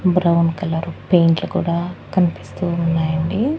Brown colour పెయింట్లు కూడా కనిపిస్తూ ఉన్నాయి అండి.